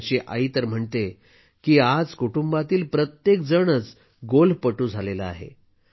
त्याची आई तर म्हणते की आज कुटुंबातील प्रत्येकजण गोल्फपटू झाला आहे